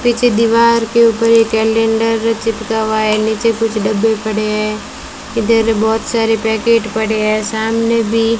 पीछे दीवार के ऊपर एक कैलेंडर चिपका हुआ है नीचे कुछ डब्बे पड़े हैं इधर बहुत सारे पैकेट पड़े हैं सामने भी --